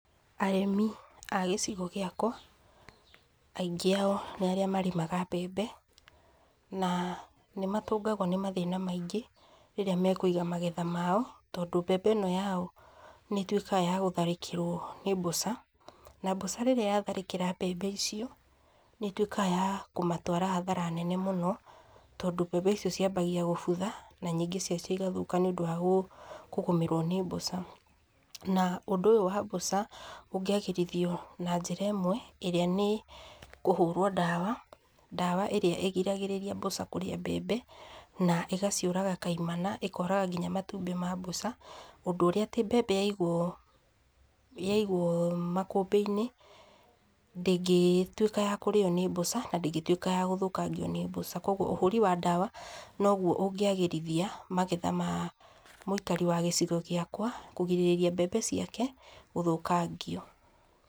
Arĩmi a gĩcigo gĩakwa, aingĩ ao nĩ arĩa marĩmaga mbembe, na nĩ matũngagwo nĩmathĩna maingĩ rĩrĩa mekũiga magetha mao, tondũ mbembe ĩno yao, nĩ ĩtuĩkaga ya gũtharĩkĩrwo nĩ mbũca, na mbũca rĩrĩa yatharĩkĩra mbembe icio, nĩ ĩtuĩkaga ya kũmatwara hathara nene mũno, tondũ mbembe icio ciabagia gũbutha, na nyingĩ ciacio igathũka, nĩ ũndũ wa kũgũmĩrwo nĩ mbũca, na ũndũ ũyũ wa mbũca ũngĩagĩrithwo na njĩra ĩmwe, ĩrĩa nĩ kũhũrwo ndawa, ndawa arĩa ĩgiragĩrĩria mbũca kũrĩa mbembe, na ĩgaciũraga kaimana, ĩkoraga ngina matumbĩ ma mbũca, ũndũ ũrĩa atĩ mbembe yaigwo yaigwo makũmbĩ-inĩ ndĩngĩtuĩka ya kũrĩyo nĩ mbũca, na ndĩngĩtuĩka ya gũthũkangio nĩ mbũca, koguo, ũhũri wa ndawa noguo ũngĩagĩrithia magetha ma mũikari wa gĩcigo gĩakwa, kũgirĩrĩria mbembe ciake gũthũkangio.